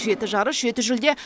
жеті жарыс жеті жүлде